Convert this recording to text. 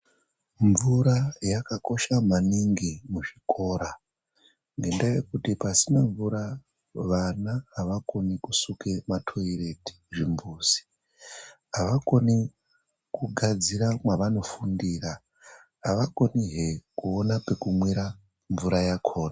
Mvura yakakosha maningi muzvikora ngenda yekuti pasina mvura vana avakoni kusuke matoireti zvimbuzi avakoni kugadzira mavanofundira avakoni hee kuwona pekumwa mvura.